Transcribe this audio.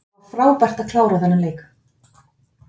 Það var frábært að klára þennan leik.